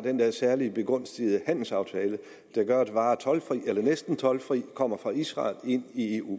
den særligt begunstigende handelsaftale der gør at varer toldfrit eller næsten toldfrit kommer fra israel ind i eu